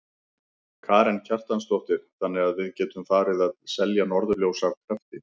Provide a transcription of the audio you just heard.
Karen Kjartansdóttir: Þannig að við getum farið að selja norðurljós af krafti?